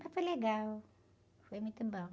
Mas foi legal, foi muito bom.